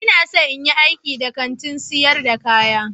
Ina son in yi aiki a Kantin sayar da kaya